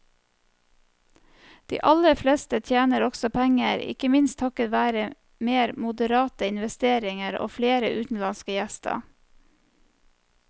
De aller fleste tjener også penger, ikke minst takket være mer moderate investeringer og flere utenlandske gjester.